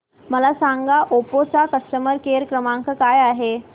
मला सांगा ओप्पो चा कस्टमर केअर क्रमांक काय आहे